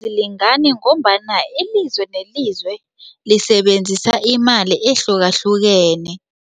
Ayilingani ngombana ilizwe nelizwe lisebenzisana imali ehlukahlukeneko.